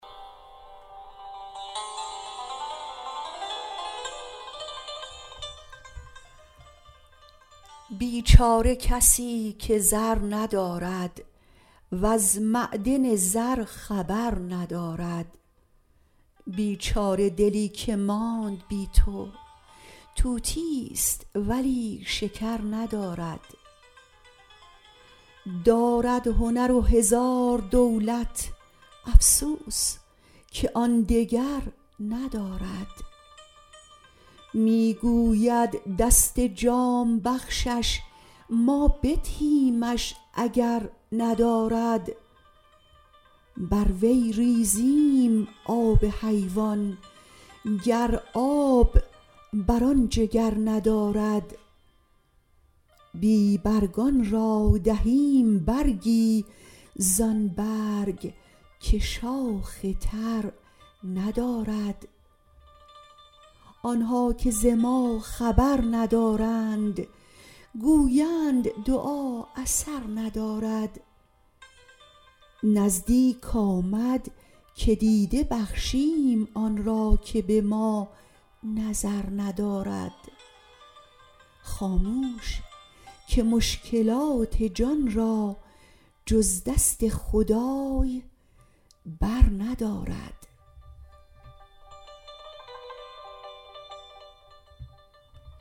بیچاره کسی که زر ندارد وز معدن زر خبر ندارد بیچاره دلی که ماند بی تو طوطیست ولی شکر ندارد دارد هنر و هزار دولت افسوس که آن دگر ندارد می گوید دست جام بخشش ما بدهیمش اگر ندارد بر وی ریزییم آب حیوان گر آب بر آن جگر ندارد بی برگان را دهیم برگی زان برگ که شاخ تر ندارد آن ها که ز ما خبر ندارند گویند دعا اثر ندارد نزدیک آمد که دیده بخشیم آن را که به ما نظر ندارد خاموش که مشکلات جان را جز دست خدای برندارد